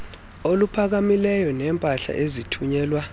oluphakamileyo neempahla ezithunyelwa